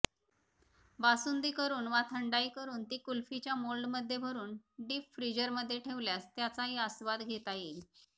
बासुंदी करून वा थंडाई करून ती कुल्फीच्या मोल्डमध्ये भरून डिपफ्रिजरमध्ये ठेवल्यास त्याचाही आस्वाद घेता येईल